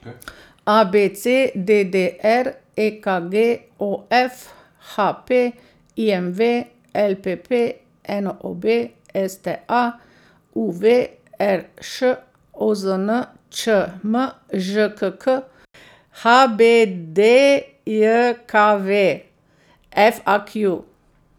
A B C; D D R; E K G; O F; H P; I M V; L P P; N O B; S T A; U V; R Š; O Z N; Č M; Ž K K; H B D J K V; F A Q.